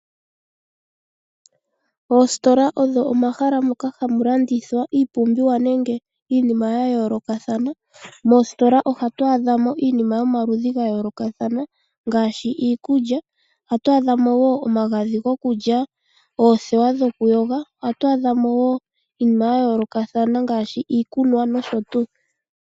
Oositola odho omahala moka hamu landithwa iipumbiwa nenge iinima yayoolokathana. Moositola ohatu adha mo iinima yomaludhi gayoolokathana ngaashi iikulya. Ohatu adha mo wo omagadhi gokulya, oothewa dhokuyoga. Ohatu adha mo wo iinima yayoolokathana ngaashi iikunwa nosho tuu.